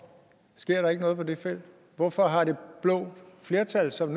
sker der ikke noget på det felt hvorfor har det blå flertal som